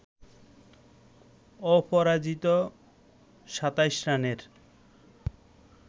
অপরাজিত ২৭ রানের